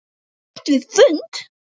Hætt við fund?